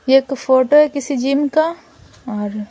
ये एक फोटो है किसी जिम का और--